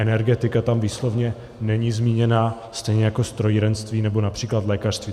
Energetika tam výslovně není zmíněna, stejně jako strojírenství nebo například lékařství.